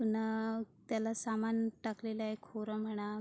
अण त्याला सामान ठाकलेलय खोर म्हणा--